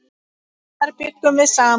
Þar bjuggum við saman.